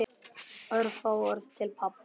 Örfá orð til pabba.